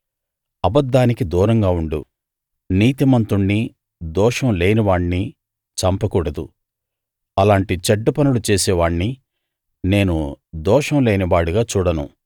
అబద్ధానికి దూరంగా ఉండు నీతిమంతుణ్ణి దోషం లేనివాణ్ణి చంపకూడదు అలాంటి చెడ్డ పనులు చేసేవాణ్ణి నేను దోషం లేనివాడిగా చూడను